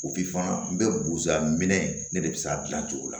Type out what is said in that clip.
n bɛ bosa minɛ ne de be se k'a dilan cogo la